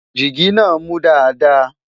jìgì nà mú Dàda